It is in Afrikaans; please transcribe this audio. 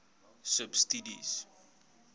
subsidies